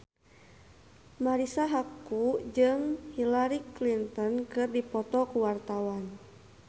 Marisa Haque jeung Hillary Clinton keur dipoto ku wartawan